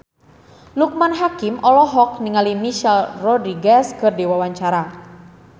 Loekman Hakim olohok ningali Michelle Rodriguez keur diwawancara